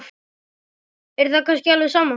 Er það kannski alveg sama?